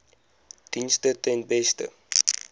dienste ten beste